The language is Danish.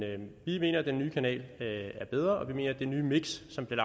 vi mener at den nye kanal er bedre og vi mener at det nye miks som bliver